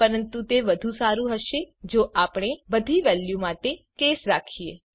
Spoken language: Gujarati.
પરંતુ તે વધુ સારું હશે જો આપણે બધી વેલ્યુ માટે કેસ રાખીએ